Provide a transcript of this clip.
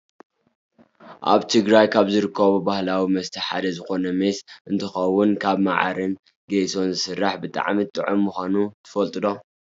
ኣብ ትግራይ ካብ ዝርከቡ ባህላዊ መስተ ሓደ ዝኮነ ሜስ እንትከውን ካብ ማዓርን ጌሾን ዝስራሕ ብጣዕሚ ጡዑም ምኳኑ ትፈልጡ ዶ ?